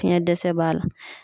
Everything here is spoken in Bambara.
Fiɲɛ dɛsɛ b'a la.